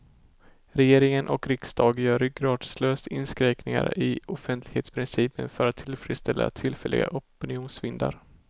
Regering och riksdag gör ryggradslöst inskränkningar i offentlighetsprincipen för att tillfredsställa tillfälliga opinionsvindar.